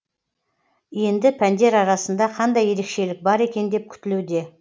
енді пәндер арасында қандай ерекшелік бар екен деп күтілуде